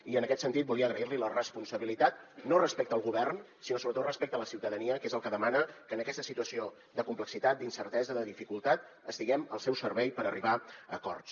i en aquest sentit volia agrair li la responsabilitat no respecte al govern sinó sobretot respecte a la ciutadania que és el que demana que en aquesta situació de complexitat d’incertesa de dificultat estiguem al seu servei per arribar a acords